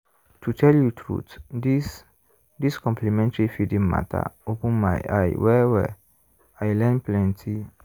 to tell you truth this this complementary feeding matter open my eye well-well i learn plenty.